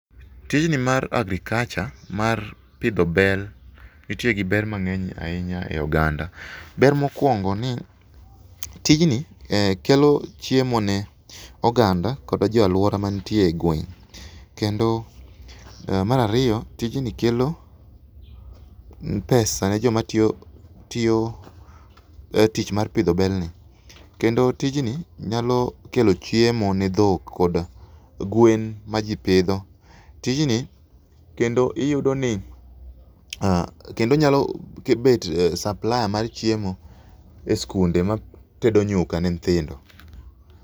Tijni mar agriculture mar pidho bel nitie gi ber mang'eny ahinya ei oganda. Ber mokwongo ni tijni kelo chiemo ne oganda kod jo alwora mantie e gweng'. Kendo mar ariyo, tijni kelo pesa ne joma tiyo tich mar pidho belni. Kendo tijni nyalo kelo chiemo ne dhok kod gwen ma ji pidho . Tijni kendo iyudo ni kendo nyalo bet supplier mar chiemo e skunde matedo nyuka ne nyithindo.